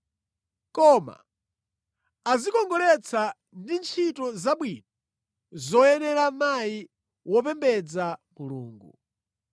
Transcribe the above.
Koma adzikongoletse ndi ntchito zabwino zoyenera mayi wopembedza Mulungu.